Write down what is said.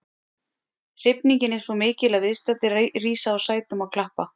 Hrifningin er svo mikil að viðstaddir rísa úr sætum og klappa.